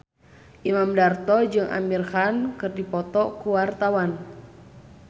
Imam Darto jeung Amir Khan keur dipoto ku wartawan